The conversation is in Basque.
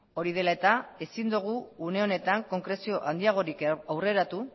hori dela eta ezin dugu une honetan konkrezio handiagorik aurreratu